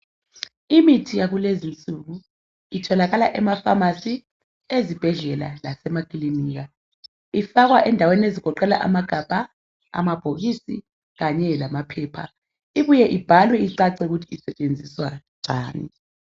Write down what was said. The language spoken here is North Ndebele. Imithi yakulezinsuku itholakala kuma pharmacy ezibhedlela lasemakilinika ifakwa endaweni ezigoqela amagabha amabhokisi kanye lamaphepha ibuye ibhalwe ukuthi isetshenziswa njani.